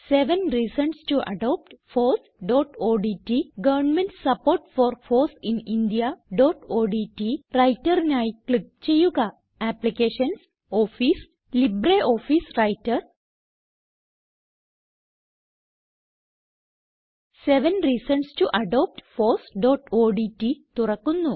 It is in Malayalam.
seven reasons to adopt fossഓഡ്റ്റ് government support for foss in indiaഓഡ്റ്റ് Writerനായി ക്ലിക്ക് ചെയ്യുക applications office LibreOffice writer seven reasons to adopt fossഓഡ്റ്റ് തുറക്കുന്നു